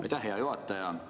Aitäh, hea juhataja!